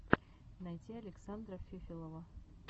найти александра фефелова